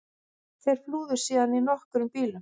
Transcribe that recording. Þeir flúðu síðan á nokkrum bílum